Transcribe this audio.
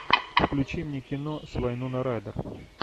включи мне кино с вайноной райдер